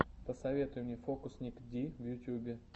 посоветуй мне фокусникди в ютюбе